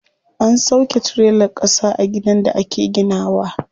An sauƙe tirelar ƙasa a gidan da ake gina wa.